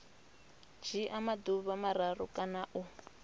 dzhia maḓuvha mararu kana u